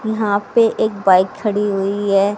यहां पे एक बाइक खड़ी हुई है।